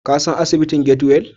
Ka san asibitin Get-well?